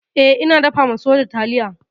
E, ina dafa soja taliya.